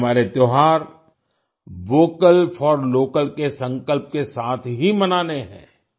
हमें हमारे त्यौहार vocal for local vocal for local के संकल्प के साथ ही मनाने हैं